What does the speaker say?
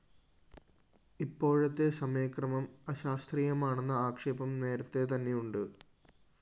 ഇപ്പോഴത്തെ സമയക്രമം അശാസ്ത്രീയമാണെന്ന ആക്ഷേപം നേരത്തെതന്നെയുണ്ട്